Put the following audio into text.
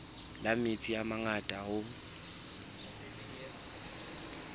la metsi a mangata hoo